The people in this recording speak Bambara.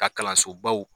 Ka kalanso baw